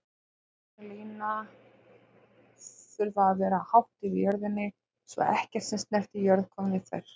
Háspennulínur þurfa að vera hátt yfir jörðinni svo ekkert sem snertir jörð komi við þær.